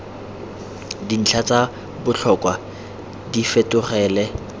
dintlha tsa botlhokwa di fetogele